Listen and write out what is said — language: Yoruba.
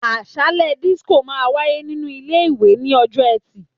Àsálé dísíkò máa wáyé nínú ilé ìwé ní ọjọ́ ẹtì